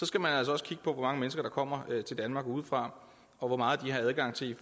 skal man altså også kigge på hvor mange mennesker der kommer til danmark udefra og hvor meget de har adgang til